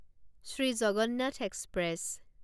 Shri Jagannath express